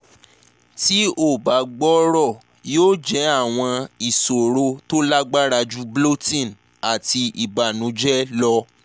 ti o ba gbooro yoo jẹ awọn iṣoro to lagbara ju bloating ati ibanujẹ lọ